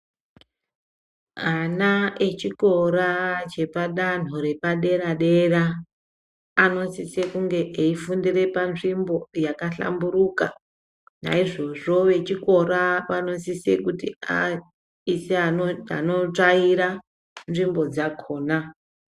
Ana echikora chepadanho repadera dera anosisa kunge eifundira panzvimbo yakahlamburuka naizvozvo vechikora vanosisa kuti aise anotsvaira nzvimbo dzakona.